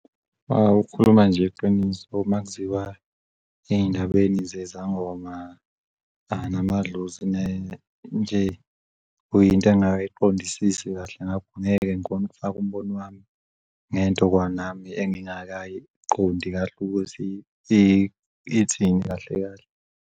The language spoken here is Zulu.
Ukukhuluma nje iqiniso makuziwa ey'ndabeni zezangoma, namadlozi nje into engakay'qondisisi kahle ngakho angeke ngikhonu' kufaka umbono wami ngento kwanami engingayiqondi kahle ukuthi ithina kahle kahle.